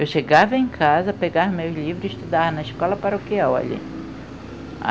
Eu chegava em casa, pegava meus livros e estudar na escola paroquial ali.